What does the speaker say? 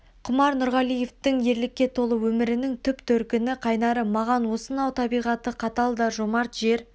құмаш нұрғалиевтің ерлікке толы өмірінің түп төркіні қайнары маған осынау табиғаты қатал да жомарт жер